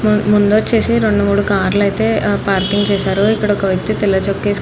ముందు వచ్చేసి రెండు మూడు కార్లు అయితే పార్కింగ్ చేసారు. ఇక్కడ ఒక వ్యక్తు తెల్ల చొక్కా వేసుకొని --